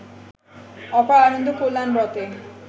অপার আনন্দ ও কল্যাণব্রতে